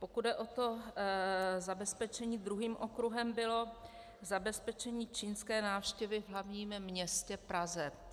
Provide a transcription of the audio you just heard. Pokud jde o to zabezpečení, druhým okruhem bylo zabezpečení čínské návštěvy v hlavním městě Praze.